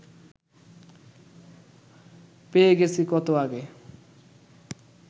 পেয়ে গেছি কত আগে